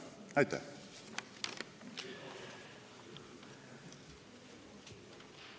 Aitäh!